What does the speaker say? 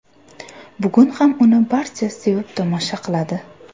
Bugun ham uni barcha sevib tomosha qiladi.